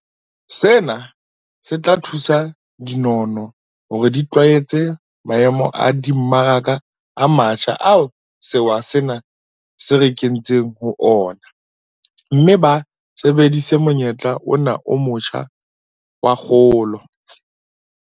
Sena se tla thusa dinono hore di itlwaetse maemo a dimmaraka a matjha ao sewa sena se re kentseng ho ona mme ba sebedise monyetla ona o motjha wa kgolo.